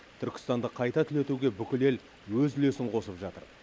түркістанды қайта түлетуге бүкіл ел өз үлесін қосып жатыр